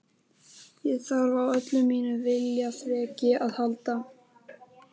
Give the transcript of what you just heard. Ég þarf á öllu mínu viljaþreki að halda.